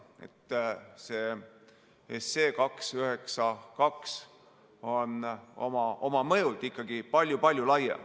Nii et see eelnõu 292 on oma mõjult ikkagi palju-palju laiem.